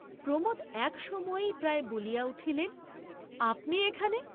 প্রমোদ এক সময়েই প্রায় বলিয়া উঠিলেন আপনি এখানে?